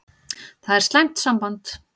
Það er slæmt samband.